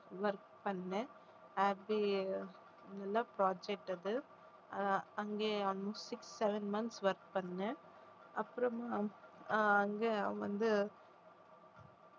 work பண்ணேன் அது நல்ல project அது ஆஹ் அங்கே almost six, seven months work பண்ணேன் அப்புறமா ஆஹ் அங்கே வந்து